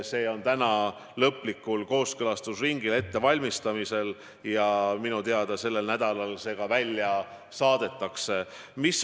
See tekst on täna lõplikul kooskõlastusringil ja minu teada sellel nädalal see ka välja saadetakse.